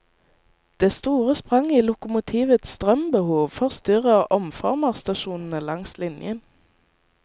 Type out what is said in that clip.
Det store spranget i lokomotivets strømbehov forstyrrer omformerstasjonene langs linjen.